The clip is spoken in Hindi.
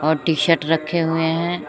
टी शर्ट रखे हुए हैं।